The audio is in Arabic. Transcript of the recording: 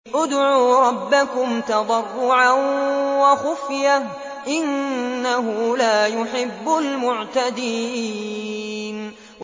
ادْعُوا رَبَّكُمْ تَضَرُّعًا وَخُفْيَةً ۚ إِنَّهُ لَا يُحِبُّ الْمُعْتَدِينَ